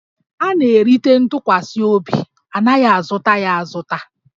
A na-erite ntụkwasị obi, a naghị azụta ya azụta